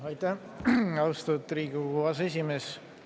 Aitäh, austatud Riigikogu aseesimees!